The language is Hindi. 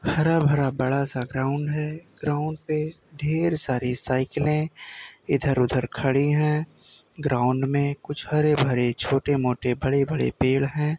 हरा भरा बड़ा सा ग्राउंड है ग्राउंड पे देर सारी साइकिलें इधर उधर खड़ी है ग्राउंड में कुछ हरे भरे छोटे मोटे बड़े बड़े पेड़ है।